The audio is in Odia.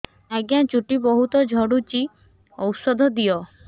ଆଜ୍ଞା ଚୁଟି ବହୁତ୍ ଝଡୁଚି ଔଷଧ ଦିଅ